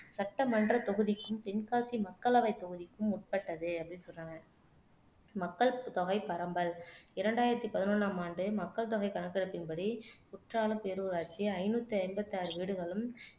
சட்டமன்றத் தொகுதிக்கும், தென்காசி மக்களவைத் தொகுதிக்கும் உட்பட்டது அப்படின்னு சொல்றாங்க மக்கள் தொகை பரம்பல் இரண்டாயிரத்து பதினொண்ணாம் ஆண்டு மக்கள் தொகை கணக்கெடுப்பின் படி குற்றாலம் பேரூராட்சி ஐநூத்தி ஐம்பத்தி ஆறு வீடுகளும்